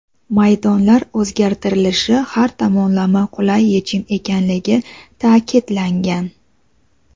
maydonlar o‘zgartirilishi har tomonlama qulay yechim ekanligi ta’kidlangan:.